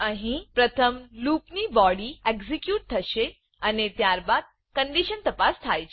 અહી પ્રથમ loop loop ની બોડી એક્ઝેક્યુટ થશે અને ત્યારબાદ કન્ડીશન તપાસ થાય છે